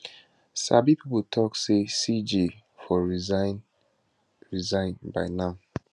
sabi pipo tok say cj for resign resign by now